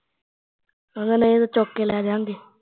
ਕਹਿੰਦੇ ਨਈ ਤਾਂ ਚੁੱਕ ਕੇ ਲੈਜਾਂਗੇ